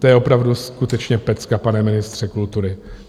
To je opravdu skutečně pecka, pane ministře kultury!